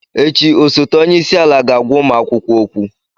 Echi, osote onye isi ala ga-agwa ụmụ akwụkwọ okwu.